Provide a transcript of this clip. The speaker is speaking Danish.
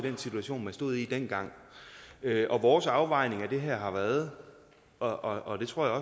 den situation man stod i dengang og vores afvejning af det her har været og og det tror jeg